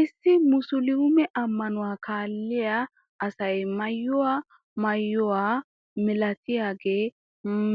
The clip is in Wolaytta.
issi musuluume ammanuwaa kaalliyaa asay maayiyoo maayuwaa milatiyaagee